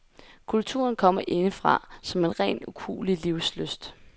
Kulturen kommer indefra som ren ukuelig livslyst.